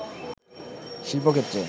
শিল্প ক্ষেত্রে